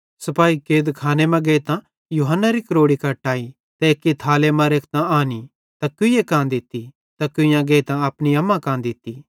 सिपाही कैदखाने मां गेइतां यूहन्नारी क्रोड़ी कट्टाई त एक्की थाले मां रेखतां आनी त कुईए कां दित्ती त कुइयां गेइतां अपनी अम्मा कां दित्ती